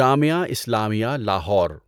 Jamia Islamia Lahore